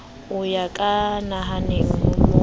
ya ka nahanang ho mo